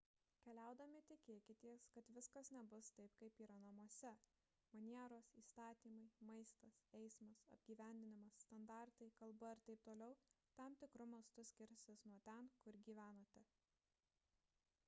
keliaudami tikėkitės kad viskas nebus taip kaip yra namuose manieros įstatymai maistas eismas apgyvendinimas standartai kalba ir t t tam tikru mastu skirsis nuo ten kur gyvenate